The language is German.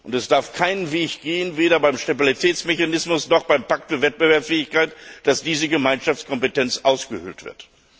Es darf keinen Weg geben weder beim Stabilitätsmechanismus noch beim Pakt für Wettbewerbsfähigkeit dass diese Gemeinschaftskompetenz ausgehöhlt wird!